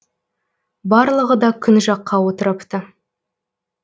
барлығы да күн жаққа отырыпты